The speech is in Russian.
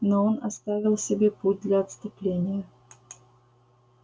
но он оставил себе путь для отступления